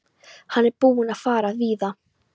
Hann er búinn að fara víða.